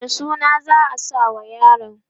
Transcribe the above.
wane suna za'a sa ma yaron?